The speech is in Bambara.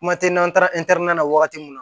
Kuma tɛ n'an taara na wagati mun na